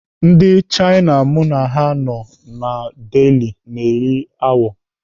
Ndị Chaina m na ha nọ na Delhi na-eri awọ.